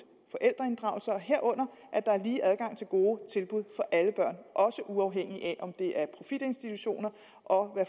og forældreinddragelsen herunder at der er lige adgang til gode tilbud for alle børn også uafhængigt af om det er profitinstitutioner og